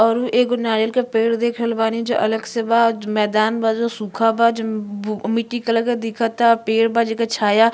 और उ एगो नारियल के पेड़ देखल रहल बानी जो अगल से बा मैंदान बा जो सूखा बा जो बु मिट्टी कलर के दिखता। पेड बा जेकर छाया --